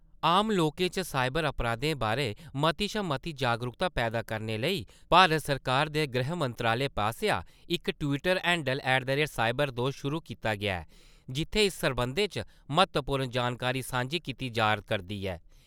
आम लोकें च साईबर अपराधें बारै मती शा मती जागरूकता पैदा करने लेई, भारत सरकार दे गृह मंत्रालय पासेआ इक Twitter handle at the rate cyber दोस्त शुरू कीता गेआ ऐ जित्थैं इस सरबंधै च म्हत्तवपूर्ण जानकारी सांझी कीती जा करदी ऐ।